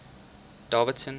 davidson